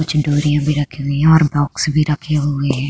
भी रखी हुई है और बॉक्स भी रखी हुई है।